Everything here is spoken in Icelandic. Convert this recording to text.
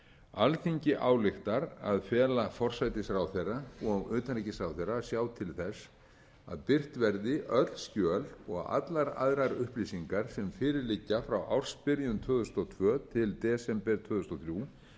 alþingi ályktar að fela forsætisráðherra og utanríkisráðherra að sjá til þess að birt verði öll skjöl og allar aðrar upplýsingar sem fyrir liggja frá ársbyrjun tvö þúsund og tvö til desember tvö þúsund og þrjú